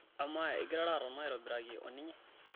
amaa engirara aton aitobiraki oninye?